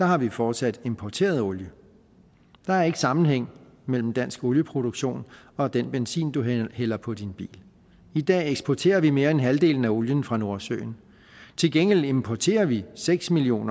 har vi fortsat importeret olie der er ikke sammenhæng mellem dansk olieproduktion og den benzin du hælder på din bil i dag eksporterer vi mere end halvdelen af olien fra nordsøen til gengæld importerer vi seks million